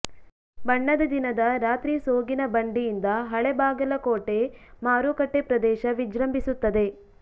ಬಣ್ಣದ ದಿನದ ರಾತ್ರಿ ಸೋಗಿನ ಬಂಡಿಯಿಂದ ಹಳೆ ಬಾಗಲಕೋಟೆ ಮಾರುಕಟ್ಟೆ ಪ್ರದೇಶ ವಿಜೃಂಬಿಸುತ್ತದೆ